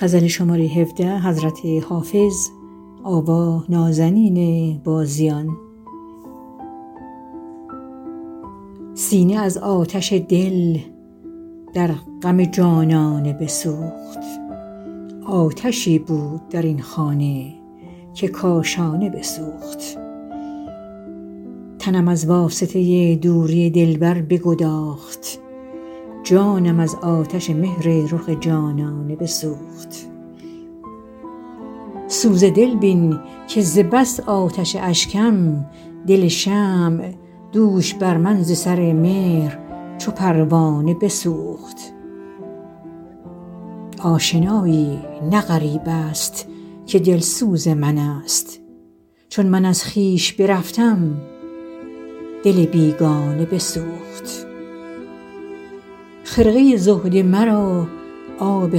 سینه از آتش دل در غم جانانه بسوخت آتشی بود در این خانه که کاشانه بسوخت تنم از واسطه دوری دلبر بگداخت جانم از آتش مهر رخ جانانه بسوخت سوز دل بین که ز بس آتش اشکم دل شمع دوش بر من ز سر مهر چو پروانه بسوخت آشنایی نه غریب است که دلسوز من است چون من از خویش برفتم دل بیگانه بسوخت خرقه زهد مرا آب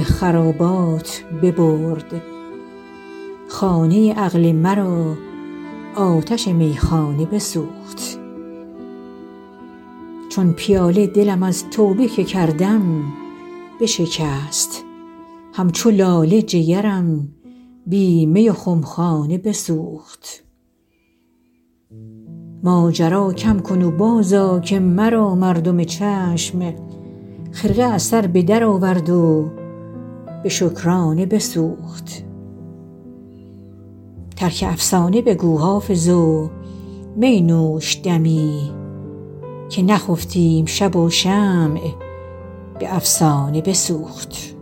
خرابات ببرد خانه عقل مرا آتش میخانه بسوخت چون پیاله دلم از توبه که کردم بشکست همچو لاله جگرم بی می و خمخانه بسوخت ماجرا کم کن و بازآ که مرا مردم چشم خرقه از سر به درآورد و به شکرانه بسوخت ترک افسانه بگو حافظ و می نوش دمی که نخفتیم شب و شمع به افسانه بسوخت